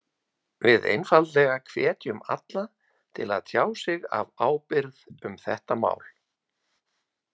Við einfaldlega hvetjum alla til að tjá sig af ábyrgð um þetta mál.